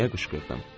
deyə qışqırdı.